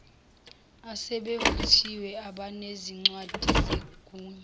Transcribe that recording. asebevuthiwe abanezincwadi zegunya